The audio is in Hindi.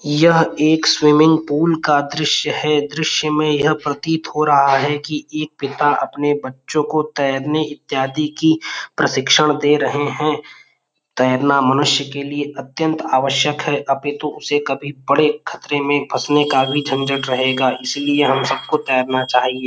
यह एक स्विमिंग पूल का दृश्य है | दृश्य में यह प्रतीत हो रहा है कि एक पिता अपने बच्चों को तैरने इत्यादि की प्रशिक्षण दे रहे हैं | तैरना मनुष्य की लिए अत्यंत आवश्यक है |अपितु उसे कभी बड़े खतरे में फंसने का भी झंझट रहेगा इसलिए हम सबको तैरना चाहिए|